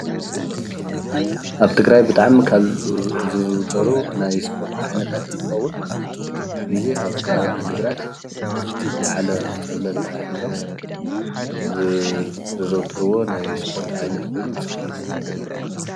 ኣብ ትግራይ ብጥዕሚ ካብ ዝዝውተሩ ናይ ስፖርት ዓይነታት ኦንትኾውን ቡዙሕ ግዜ ኣብ ኸባቢ ዒድግራት ዝለዓለ ፀብልታ ሒዞም ዘዘውትርዎ ናይ ስፖርት ዓይነት ኮይኑ ብሽክሌት ውድድር ይበሃል።